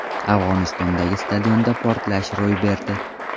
Afg‘onistondagi stadionda portlashlar ro‘y berdi.